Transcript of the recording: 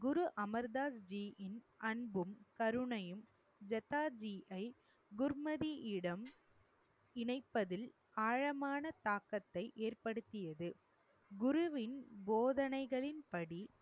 குரு அமர் தாஸ்ஜியின் அன்பும் கருணையும் ஜதாதியை குர்மதியிடம் இணைப்பதில் ஆழமான தாக்கத்தை ஏற்படுத்தியது. குருவின் போதனைகளின்படி